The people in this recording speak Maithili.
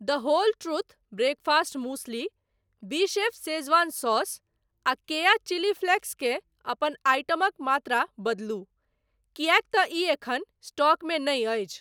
द होल ट्रूथ ब्रेकफास्ट मूसली, बीशेफ़ शेजवान सॉस आ केया चिली फ्लैक्स के अपन आइटमक मात्रा बदलू किएक तँ ई एखन स्टॉकमे नहि अछि।